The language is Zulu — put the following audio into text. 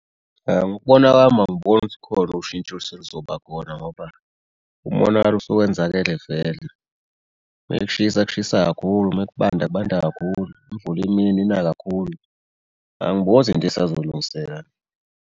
Ngokubona kwami angiboni ukuthi khona ushintsho elisezoba khona ngoba umonakalo usuwenzakele vele bekushisa kushisa kakhulu uma kubanda kubanda kakhulu imvula uma ina ina kakhulu. Angiboni ukuthi into esazolungiseka.